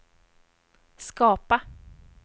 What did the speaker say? skapa